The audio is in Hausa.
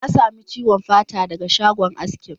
Ya sami ciwon fata daga shagon askin.